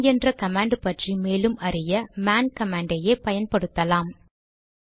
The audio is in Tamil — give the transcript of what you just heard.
மேன் என்ற கமாண்ட் பற்றி மேலும் அறிய மேன் கமாண்டை யே பயன்படுத்தலாம்